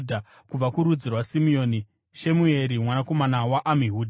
Kubva kurudzi rwaSimeoni, Shemueri mwanakomana waAmihudhi;